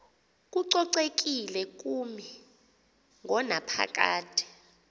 kococekile kumi ngonaphakade